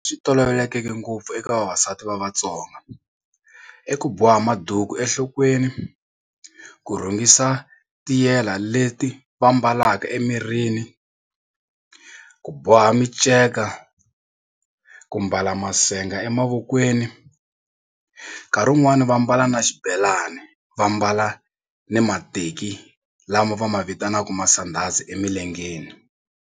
Swi tolovelekeke eka vavasati va Vatsonga i ku boha maduku enhlokweni, ku rhungisa tiyela leti va mbalaka emirini, ku boha minceka, ku mbala masenga emavokweni nkarhi wun'wani va mbala na xibelani va mbala ni mateki lama va ma vitanaka masandhazi emilengeni.